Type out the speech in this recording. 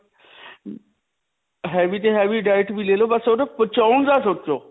heavy ਤੋਂ heavy diet ਵੀ ਲੈ ਲੋ ਬਸ ਓਹ ਨਾ ਪਚਾਉਣ ਦਾ ਸੋਚੋ.